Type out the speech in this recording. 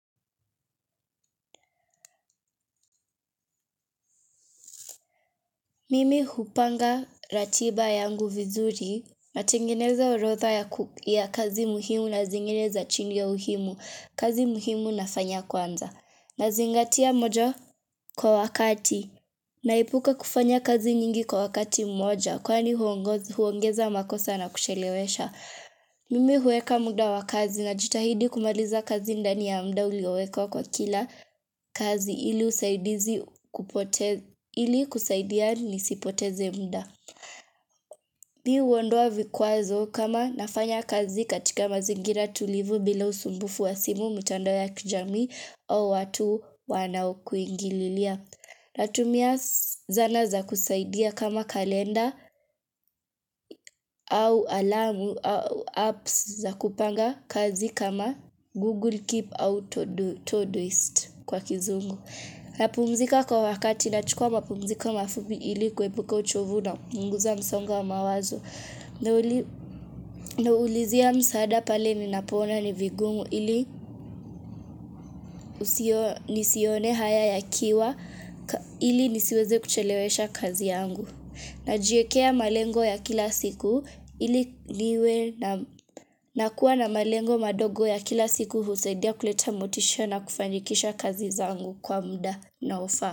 Mimi hupanga ratiba yangu vizuri, natengeneza orodha ya kazi muhimu na zingine za chini ya muhimu, kazi muhimu nafanya kwanza. Nazingatia moja kwa wakati, naipuka kufanya kazi nyingi kwa wakati mmoja, kwani huongeza makosa na kuchelewesha. Mimi huweka muda wa kazi najitahidi kumaliza kazi ndani ya muda uliweka kwa kila kazi ili kusaidia nisipoteze muda mimi huondoa vikwazo kama nafanya kazi katika mazingira tulivu bila usumbufu wa simu mitandao ya kijamii au watu wanao kuingililia na tumia zana za kusaidia kama kalenda au alamu au apps za kupanga kazi kama Google Keep au Todoist kwa kizungu. Napumzika kwa wakati na chukua mapumziko mafupi ili kuebuka uchovu na kupunguza msonga wa mawazo. Na ulizia msaada pale ninapoona ni vigungu ili nisione haya yakiwa ili nisiweze kuchelewesha kazi yangu. Ninajiekea malengo ya kila siku ili liwe na kuwa na malengo madogo ya kila siku husaidia kuleta motisha na kufanikisha kazi zangu kwa muda unaofaa.